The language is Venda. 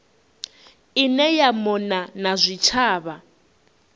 ine ya mona na zwitshavha